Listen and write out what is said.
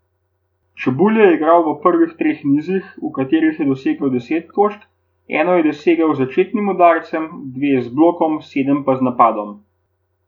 Čebulj je igral v prvih treh nizih, v katerih je dosegel deset točk, eno je dosegel s začetnim udarcem, dve z blokom, sedem pa z napadom.